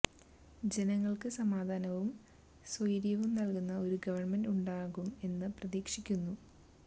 ജനങ്ങൾക്ക് സമാധാനവും സ്വൈര്യവും നല്കുന്ന ഒരു ഗവണ്മെന്റ് ഉണ്ടാകും എന്ന് പ്രതീക്ഷിക്കുന്നു